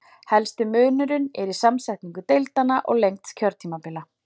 Helsti munurinn er í samsetningu deildanna og lengd kjörtímabila.